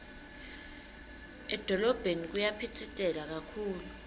edolobheni kuyaphitsitela kakhulu